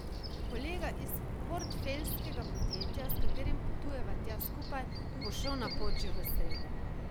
Kolega iz portfeljskega podjetja, s katerim potujeva tja skupaj, bo šel na pot že v sredo.